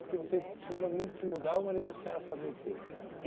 Porque vocês tiveram muito que mudar, o marido da Senhora fazia o quê?